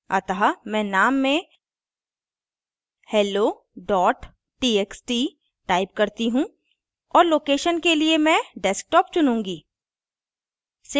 अतः मैं name में hello txt type करती हूँ और location के लिए मैं desktop चुनूँगी